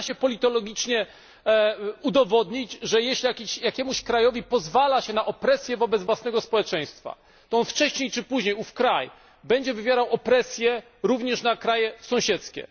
Można to politologicznie udowodnić, że jeśli jakiemuś krajowi pozwala się na opresję wobec własnego społeczeństwa, to kraj ów wcześniej czy później będzie wywierał opresję również na kraje sąsiedzkie.